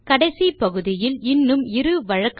கடைசி பகுதியில் இன்னும் இரு வழக்கமான பிழைகளை பார்க்கலாம்